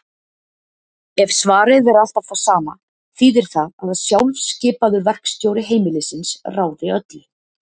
Ef svarið er alltaf það sama þýðir það að sjálfskipaður verkstjóri heimilisins ráði öllu.